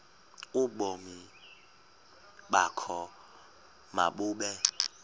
ubomi bakho mabube